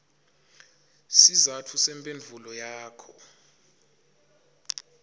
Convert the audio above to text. sizatfu semphendvulo yakho